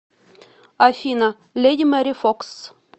афина леди мэри фокс